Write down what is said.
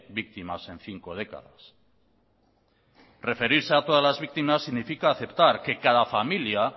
víctimas en cinco décadas referirse a todas las víctimas significa aceptar que cada familia